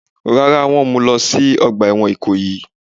Rárá, wọ́n mú u lọ sí ọgbà ẹ̀wọ̀n Ìkòyí.